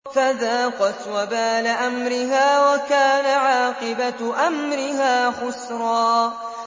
فَذَاقَتْ وَبَالَ أَمْرِهَا وَكَانَ عَاقِبَةُ أَمْرِهَا خُسْرًا